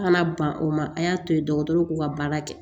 An kana ban o ma a y'a to yen dɔgɔtɔrɔw k'u ka baara kɛ